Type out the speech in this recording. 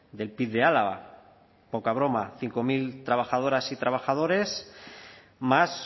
del pib de álava poca broma cinco mil trabajadoras y trabajadores más